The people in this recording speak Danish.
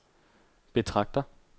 betragter